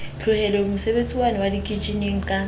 tlohetse mosebetsiwane wa dikitjheneng ka